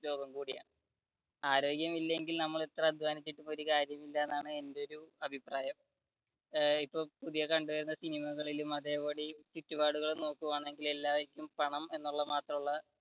ലോകം കൂടിയാണ് ആരോഗ്യം ഇല്ലെങ്കിൽ നമ്മൾ എത്ര അദ്ധ്വാനിച്ചിട്ടും ഒരു കാര്യമില്ല എന്നാണ് എന്റെ ഒരു അഭിപ്രായം. ഇപ്പൊ പുതിയ കണ്ടുവരുന്ന സിനിമകളിലും അതേപടി ചുറ്റുപാടുകളും നോക്കുകയാണെങ്കിൽ എല്ലാര്ക്കും പണം എന്ന് ഉള്ള മാത്രമുള്ള